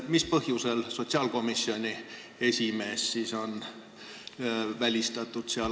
Mis põhjusel sotsiaalkomisjoni esimees on seal välistatud?